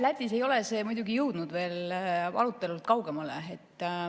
Lätis ei ole see muidugi jõudnud arutelust kaugemale.